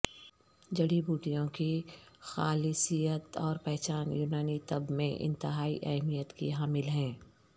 جڑی بوٹیوں کی خالصیت اور پہچان یونانی طب میں انتہائی اہمیت کی حامل ہیں